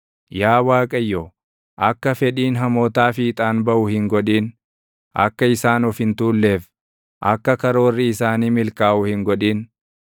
Yaa Waaqayyo, akka fedhiin hamootaa fiixaan baʼu hin godhin; akka isaan of hin tuulleef, akka karoorri isaanii milkaaʼu hin godhin.